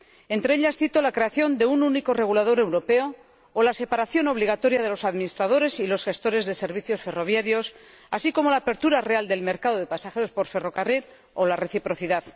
Entre ellas cito la creación de un único regulador europeo o la separación obligatoria de los administradores y los gestores de servicios ferroviarios, así como la apertura real del mercado de pasajeros por ferrocarril o la reciprocidad.